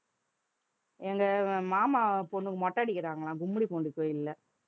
எங்க மாமா பொண்ணுக்கு மொட்டை அடிக்கிறாங்களாம் கும்மிடிப்பூண்டி கோயில்ல